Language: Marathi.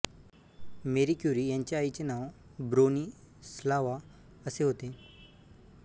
मेरी क्युरी यांच्या आईचे नाव ब्रोनिस्लावा असे होते